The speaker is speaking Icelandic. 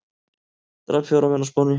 Drap fjóra menn á Spáni